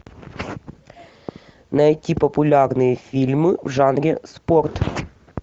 найти популярные фильмы в жанре спорт